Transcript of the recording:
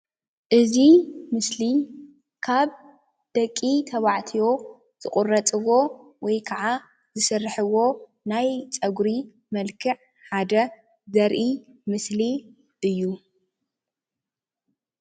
እዚ ምስሊ ካብ ደቂ ተባዕትዮ ዝቁረፅዎ ወይ ከዓ ዝስርሕዎ ናይ ፀጉሪ መልክዕ ሓደ ዘርኢ ምስሊ እዩ ፡፡